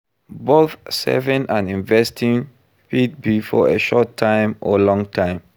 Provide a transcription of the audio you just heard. Both saving and investing fit be for a short time or long time